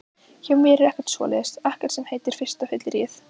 Hjá mér er ekkert svoleiðis, ekkert sem heitir fyrsta fylliríið.